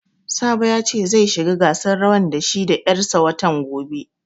Sabo ya ce zai shiga gasan rawan da shi da 'yar sa watan gobe